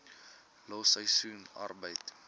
los seisoensarbeid